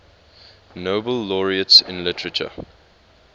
nobel laureates in literature